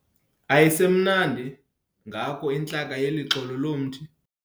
Ayisemnandi ngako intlaka yeli xolo lomthi.